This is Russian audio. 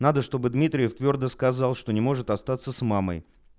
надо чтобы дмитриев твёрдо сказал что не может остаться с мамой